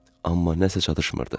Amma nəsə çatışmırdı.